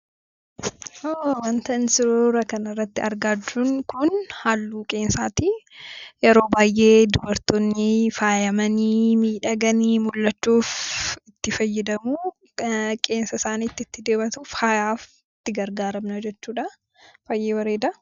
Wantaan suuraa kana irratti argaa jirru kun, halluu qeensaati. Yeroo baay'ee dubartooni faayamanii, midhagannii mul'achuuf itti fayyadamu. Qeensa isaaniitti dibatuu. Faayaaf itti gargaaramu jechuudha. Baay'ee bareeda.